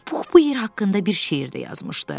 Pux bu yer haqqında bir şeir də yazmışdı.